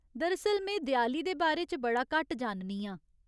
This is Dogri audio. दरअसल, में देआली दे बारे च बड़ा घट्ट जाननी आं।